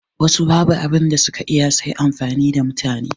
Wassu babu abunda suka iya sai amfani da mutane